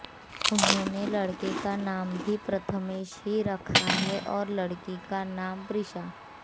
उन्होंने लड़के का नाम भी प्रथमेश ही रखा है और लड़की का नाम प्रीषा